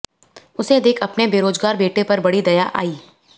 उसे देख अपने बेरोजगार बेटे पर बड़ी दया आई